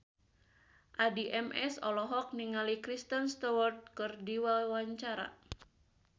Addie MS olohok ningali Kristen Stewart keur diwawancara